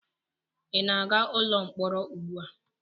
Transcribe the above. Ị na-aga ụlọ mkpọrọ ugbu a?